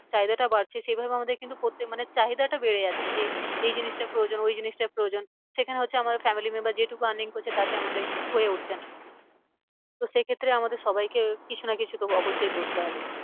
চাহিদাটা বাড়ছে সেই ভাবে আমাদের কিন্তু প্রত্যেক মানে চাহিদাটা বেড়ে যাচ্ছে যে এই জিনিসটা প্রয়োজন ওই জিনিসটা প্রয়োজন। সেখানে হচ্ছে আমাদের family member যেটুকু earning করছে তাতে আমাদের হয়ে উঠছে না। তো সেই ক্ষেত্রে আমাদের সবাইকে কিছু না কিছু তো অবশ্যই করতে হবে।